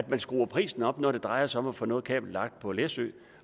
man skruer prisen op når det drejer sig om at få noget kabel lagt på læsø